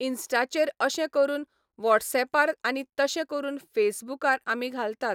इनस्टाचेर अशें करुन वॉटसऍपार आनी तशें करून फेसबुकार आमी घालतात